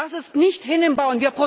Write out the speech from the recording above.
Das ist nicht hinnehmbar!